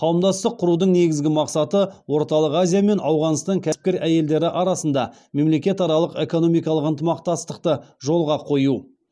қауымдастық құрудың негізгі мақсаты орталық азия мен ауғанстан кәсіпкер әйелдері арасында мемлекетаралық экономикалық ынтымақтастықты жолға қою